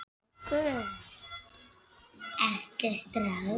Forsetanum mæltist á þessa leið: Hæstvirti dómur!